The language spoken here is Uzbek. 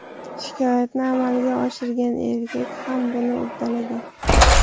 Shikoyatni amalga oshirgan erkak ham buni uddalagan.